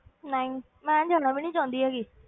ਨਹੀਂ, ਮੈਂ ਜਾਣਾ ਵੀ ਨੀ ਚਾਹੁੰਦੀ ਹੈਗੀ।